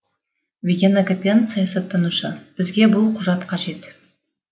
виген акопян саясаттанушы бізге бұл құжат қажет